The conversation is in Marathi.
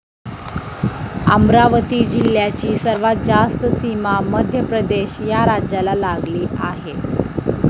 अमरावती जिल्ह्याची सर्वात जास्त सीमा मध्यप्रदेश या राज्याला लागली आहे.